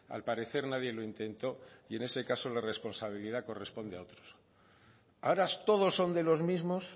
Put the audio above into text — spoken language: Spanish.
al parecer nadie lo intentó y en ese caso la responsabilidad corresponde a otros ahora todos son de los mismos